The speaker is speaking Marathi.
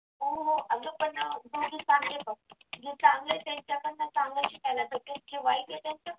हो हो अगं पण ना जे चांगले आहे त्यांच्याकडून चांगलं शिकायला भेटलं जे वाईट आहे त्यांच्याकडून